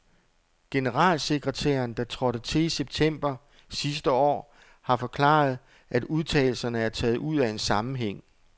Generalsekretæren, der trådte til i september sidste år, har forklaret, at udtalelserne er taget ud af en sammenhæng.